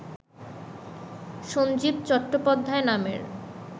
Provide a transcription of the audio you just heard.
সঞ্জীব চট্টোপাধ্যায় নামের